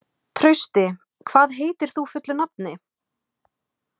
Trausti, hvað heitir þú fullu nafni?